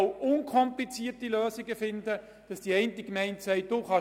Unkomplizierte Lösungen sind möglich.